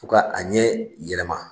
U ka a ɲɛ yɛlɛma